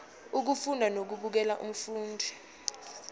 ukufunda nokubukela umfundi